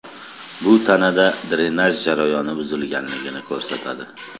Bu tanada drenaj jarayoni buzilganligini ko‘rsatadi.